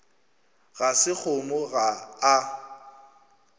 ga se kgomo ga a